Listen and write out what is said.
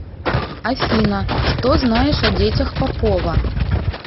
афина что знаешь о детях попова